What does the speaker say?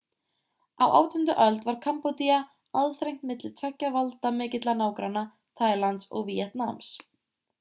á 18. öld var kambódía aðþrengt milli tveggja valdamikilla nágranna taílands og víetnams